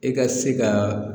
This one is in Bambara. E ka se ka